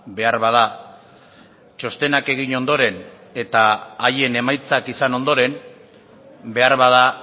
beharbada txostenak egin ondoren eta haien emaitzak izan ondoren beharbada